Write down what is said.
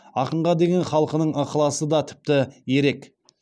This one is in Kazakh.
ақынға деген халқының ықыласы да тіпті ерек